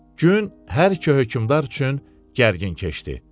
Gün hər iki hökmdar üçün gərgin keçdi.